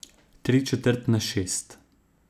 Tri četrt na šest.